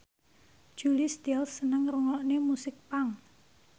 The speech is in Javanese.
Julia Stiles seneng ngrungokne musik punk